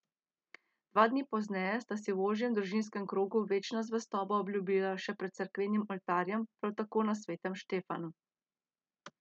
Dva dni pozneje sta si v ožjem družinskem krogu večno zvestobo obljubila še pred cerkvenim oltarjem, prav tako na Svetem Štefanu.